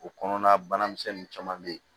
O kɔnɔna banamisɛnnin caman be yen